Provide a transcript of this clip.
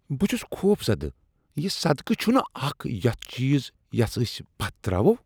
بہٕ چھس خوفزدہ۔ یہ صدقہٕ چھنہٕ اکھ یتھ چیز یس ٲسۍ پتھ تراوو۔